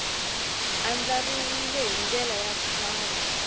andlariwile hi ndlela ya kahle